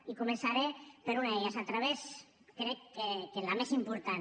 i començaré per una d’elles a través crec que de la més important